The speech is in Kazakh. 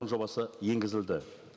жобасы енгізілді